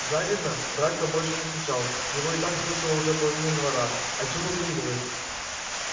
завидно драко больше не кричал его и так слушала уже половина двора а чему завидовать